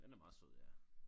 Den er meget sød ja